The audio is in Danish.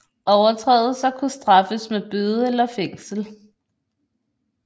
Overtrædelser kunne straffes med bøde eller fængsel